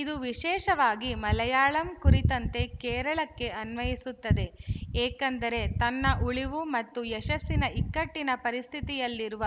ಇದು ವಿಶೇಷವಾಗಿ ಮಲಯಾಳಂ ಕುರಿತಂತೆ ಕೇರಳಕ್ಕೆ ಅನ್ವಯಿಸುತ್ತದೆ ಏಕೆಂದರೆ ತನ್ನ ಉಳಿವು ಮತ್ತು ಯಶಸ್ಸಿನ ಇಕ್ಕಟ್ಟಿನ ಪರಿಸ್ಥಿತಿಯಲ್ಲಿರುವ